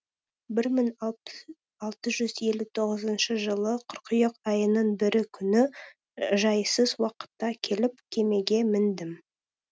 бір мың алты жүз елу тоғызыншы жылы қыркүйек айының бірі күні жайсыз уақытта келіп кемеге міндім